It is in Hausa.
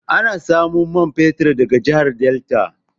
Ana samo man fetir daga jahar delta